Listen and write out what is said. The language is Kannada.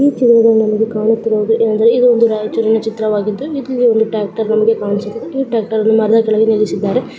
ಈ ಚಿತ್ರದಲ್ಲಿ ನಮಗೆ ಕಾಣುತ್ತಿರುವುದು ಏನಂದರೆ ಇದು ಒಂದು ರಾಯಚೂರಿನ ಚಿತ್ರವಾಗಿದ್ದು ಒಂದು ಟ್ರಾಕ್ಟರ ಬಂಡಿ ಕಾಣಿಸುತ್ತಿದೆ .